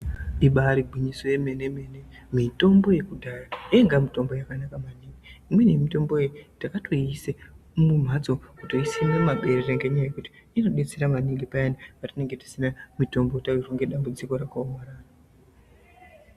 Ibari gwinyiso remene mene mutombo yekudhaya yainga mutombo yakanaka maningi imweni mutombo takatoisa mumhatso kutoisima mumaberere ngenguti inobetsera maningi paya patinenge tisina mutombo tawirwa nedambudziko